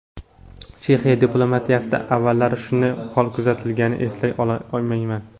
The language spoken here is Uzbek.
Chexiya diplomatiyasida avvallari shunday hol kuzatilganini eslay olmayman.